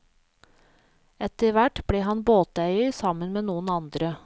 Etterhvert ble han båteier sammen med noen andre.